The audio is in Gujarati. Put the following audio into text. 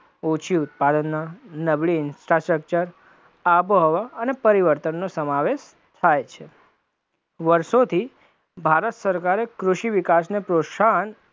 ઓછી ઉત્પાદનના, નબળી infrastructure, આબોહવા અને પરિવર્તનનો સમાવેશ થાય છે, વર્ષોથી ભારત સરકારે કૃષિ વિકાસને પ્રોત્સાહન